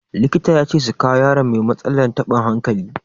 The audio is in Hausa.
Likita ya ce su kawo yaron mai matsalar taɓin hankali.